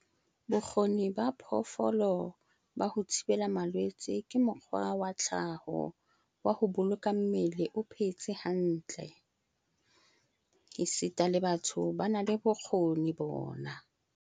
Bokgoni ba phoofolo ba ho thibela malwetse ke mokgwa wa tlhaho wa ho boloka mmele o phetse hantle - esita le batho ba na le bokgoni bona.